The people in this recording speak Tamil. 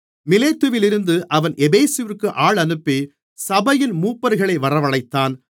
மிலேத்துவிலிருந்து அவன் எபேசுவிற்கு ஆள் அனுப்பி சபையின் மூப்பர்களை வரவழைத்தான்